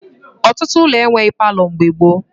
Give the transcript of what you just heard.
Ọtụtụ ụlọ enweghi palọ mgbe gboo